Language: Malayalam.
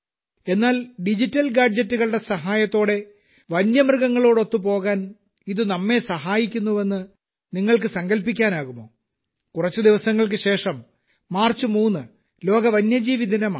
എന്നാൽ ഡിജിറ്റൽ ഗാഡ്ജെറ്റുകളുടെ സഹായത്തോടെ വന്യമൃഗങ്ങളോടൊത്തു പോകാൻ ഇത് ഇപ്പോൾ നമ്മെ സഹായിക്കുന്നുവെന്ന് നിങ്ങൾക്ക് സങ്കൽപ്പിക്കാനാകുമോ കുറച്ച് ദിവസങ്ങൾക്ക് ശേഷം മാർച്ച് 3 ലോക വന്യജീവി ദിനമാണ്